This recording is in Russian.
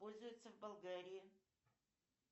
пользуются в болгарии